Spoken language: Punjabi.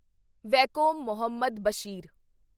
ਵੈਕੋਮ ਮੁਹੰਮਦ ਬਸ਼ੀਰ